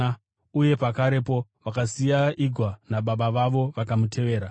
uye pakarepo vakasiya igwa nababa vavo vakamutevera.